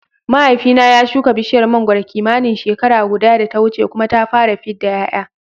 Mahaifina ya shuka bishiyar mangwaro kimanin shekara guda da ta wuce kuma ta fara fidda ƴaƴa